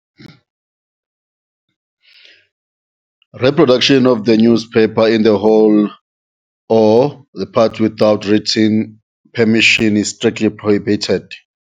Reproduction of the newspaper in the whole or the part without written permission is strictly prohibited.